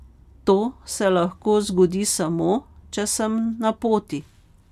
To se lahko zgodi samo, če sem na poti.